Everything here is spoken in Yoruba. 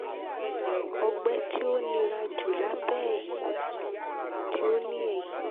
ọgbẹ ti o nira ju labẹ ẹhin ti o ni ẹhin